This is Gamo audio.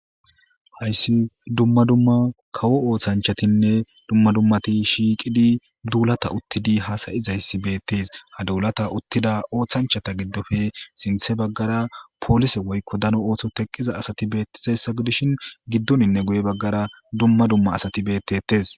hayssi dumma dumma kawo ooththanchatinne dumma dummati shiiqidi duulata uttidi hasayizayssi beettes ha duulata uttida ooththanchata giddofe sinthe baggara poolise woykko dano oohtho teqqiza asati beettizayssa gidishin giddoninne guye baggara dumma dumma asati bettettes